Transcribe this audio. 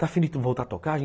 Está afim de voltar a tocar?